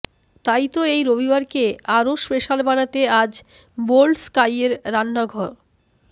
তাই তো এই রবিবারকে আরও স্পেশাল বানাতে আজ বোল্ডস্কাইয়ের রান্না ঘ